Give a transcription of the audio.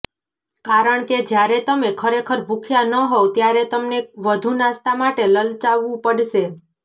કારણ કે જ્યારે તમે ખરેખર ભૂખ્યા ન હોવ ત્યારે તમને વધુ નાસ્તા માટે લલચાવવું પડશે